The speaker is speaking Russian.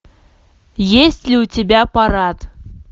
есть ли у тебя парад